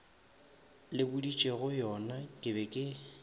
le boditšegoyona ke be ke